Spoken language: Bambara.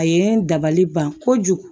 A ye n dabali ban kojugu